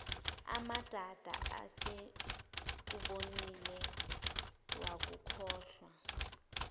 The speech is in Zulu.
amadada esekubonile wakukholwa